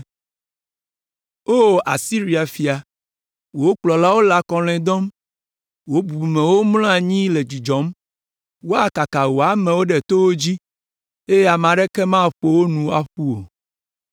O Asiria fia, wò kplɔlawo le akɔlɔ̃e dɔm; wò bubumewo mlɔ anyi le dzudzɔm. Woakaka wò amewo ɖe towo dzi, eye ame aɖeke maƒo wo nu ƒu o.